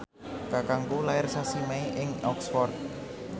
kakangku lair sasi Mei ing Oxford